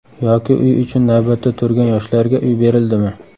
Yoki uy uchun navbatda turgan yoshlarga uy berildimi?